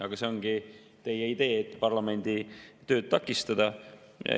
Aga see ongi teie idee, et parlamendi tööd takistada.